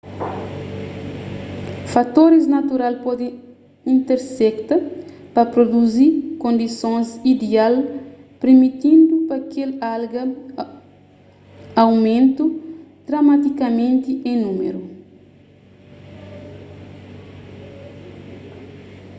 fatoris natural pode intersekta pa pruduzi kondisons ideal pirmitindu pa kel alga aumenta dramatikamenti en númeru